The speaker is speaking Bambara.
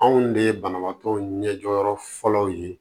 Anw de ye banabaatɔ ɲɛ jɔyɔrɔ fɔlɔ ye